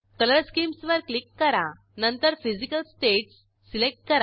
colour schemes वर click करा नंतर फिजिकल स्टेट्स सिलेक्ट करा